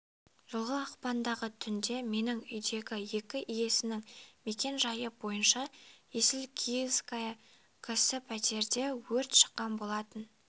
жылғы ақпандағы түнде менің үйімдегі екі иесінің мекен-жай бойынша есіл киевская к-сі пәтерде өрт шыққан болатын